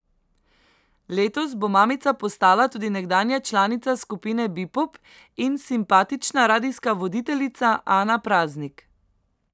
Letos bo mamica postala tudi nekdanja članica skupine Bepop in simpatična radijska voditeljica Ana Praznik.